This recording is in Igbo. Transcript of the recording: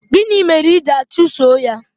gịnị mere I ji achuso ya?